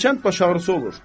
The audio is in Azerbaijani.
Hərçənd baş ağrısı olur.